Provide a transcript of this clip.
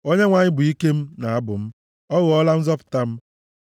Onyenwe anyị bụ ike m na abụ m; ọ ghọọla nzọpụta m.